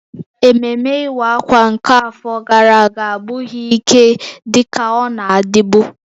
Ememme Iwa Akwa nke afọ gara aga abụghị ike dị ka ọ na-adịbu